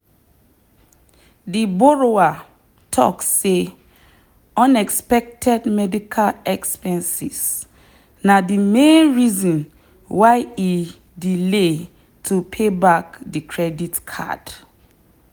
the borrower talk say unexpected medical expenses na the main reason why e delay to pay back the credit card.